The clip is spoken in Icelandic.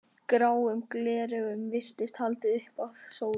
Gráum gleraugum virtist haldið upp að sólinni.